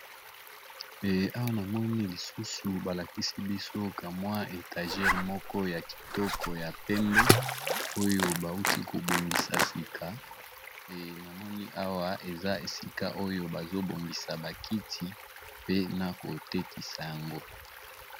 Eh Awa ! namoni , lisusu balakisi biso ka mwa étagère, moko ya kitoko ! ya pembe oyo bawuti kobongisa sika , eh namoni ! Awa eza esika ! oyo bazobongisa bakiti pe, na kotekisa yango .